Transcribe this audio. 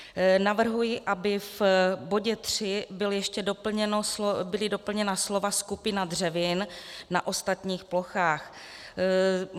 Navrhuji, aby v bodě 3 byla ještě doplněna slova "skupina dřevin na ostatních plochách".